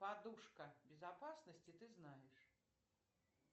подушка безопасности ты знаешь